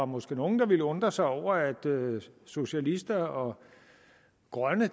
måske nogle der vil undre sig over at socialister og grønne